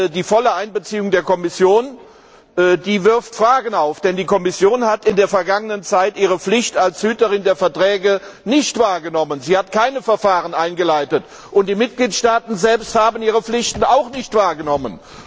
Die volle Einbeziehung der Kommission wirft Fragen auf, denn die Kommission hat in der Vergangenheit ihre Pflicht als Hüterin der Verträge nicht wahrgenommen, sie hat keine Verfahren eingeleitet. Und die Mitgliedstaaten selbst haben ihre Pflichten auch nicht wahrgenommen.